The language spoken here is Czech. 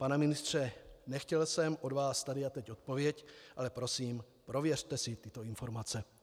Pane ministře, nechtěl jsem od vás tady a teď odpověď, ale prosím, prověřte si tyto informace.